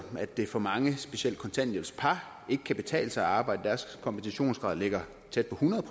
at det for mange specielt kontanthjælpspar ikke kan betale sig at arbejde deres kompensationsgrad ligger tæt på hundrede